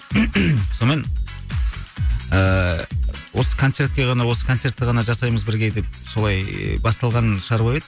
сонымен ыыы осы концертке ғана осы концертті ғана жасаймыз бірге деп солай басталған шаруа еді